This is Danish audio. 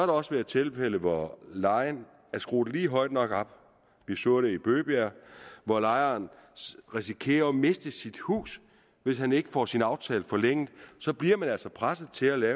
også være tilfælde hvor lejen er skruet lige højt nok op vi så det i bøgebjerg hvor lejeren risikerer at miste sit hus hvis han ikke får sin aftale forlænget og så bliver man altså presset til at